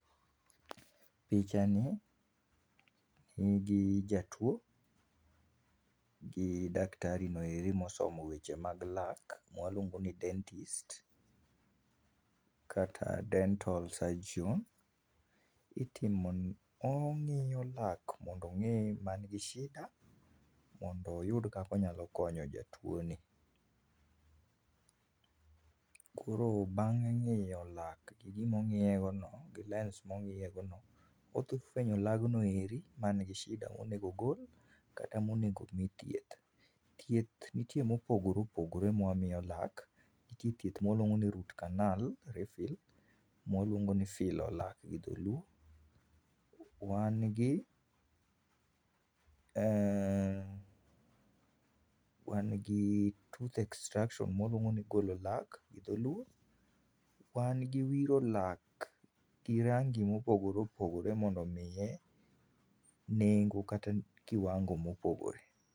Pichani, nigi jatuo gi daktari noeri mosomo weche mag lak mwaluongo ni dentist, kata dental surgeon itimo ong'iyo lak mondo ong'i man gi sida mondo oyud kaka onyalo konyo jatuo ni .koro bang' ngi'yo lak gi gima ong'iye go no, gi lens mong'iye go no odhi fwenyo lagno eri man gi shida monego ogol kata monego mii thieth, thieth nitie mopogore opogore mawamiyo lak nitie thieth mawaluongo ni root carnal refill mwaluongo ni filo lak gi dholuo wan gi , uh wan gi tooth extraction mwaluongo ni golo lak gi dholuo wan gi wiro lak gi rangi mopogore opogore mondo omiye nengo kata kiwango mopogore.